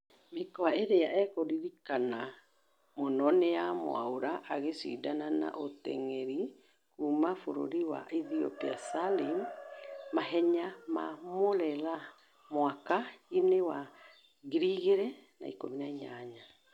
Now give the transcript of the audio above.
Mũkwa ĩrĩa akũririkana mũno ni ya Mwaura agĩshidana na mutengeri kuuma burũri wa Ethiopia Salim , mahenya ma Murera mwaka- ĩnĩ wa 2018